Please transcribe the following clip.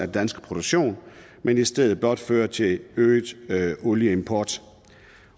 danske produktion men i stedet blot føre til øget olieimport